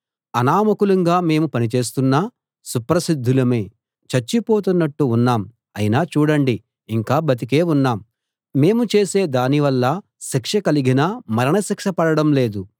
అనామకులంగా మేము పని చేస్తున్నా సుప్రసిద్ధులమే చచ్చిపోతున్నట్టు ఉన్నాం అయినా చూడండి ఇంకా బతికే ఉన్నాం మేము చేసే దాని వల్ల శిక్ష కలిగినా మరణ శిక్ష పడడం లేదు